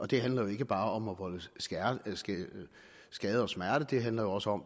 det handler ikke bare om at volde skade og smerte det handler også om